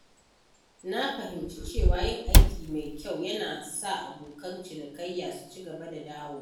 Na fahimci cewa yin aiki mai kyau yana sa abokan cinikayya su ci gaba da dawowa.